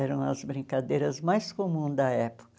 Eram as brincadeiras mais comuns da época.